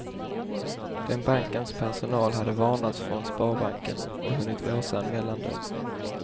Den bankens personal hade varnats från sparbanken och hunnit låsa en mellandörr.